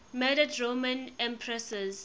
murdered roman empresses